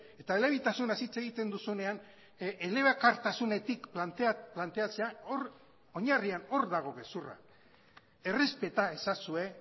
eta elebitasunaz hitz egiten duzunean elebakartasunetik planteatzea hor oinarrian hor dago gezurra errespeta ezazue